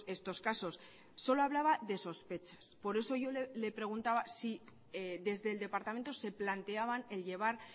estos casos solo hablaba de sospechas por eso yo le preguntaba si desde el departamento se planteaban el llevar